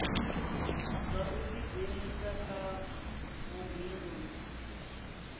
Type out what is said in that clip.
zwa u ḓidzhenisa kha vhubindudzi